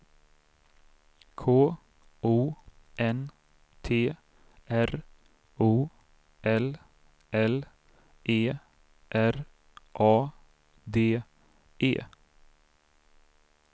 K O N T R O L L E R A D E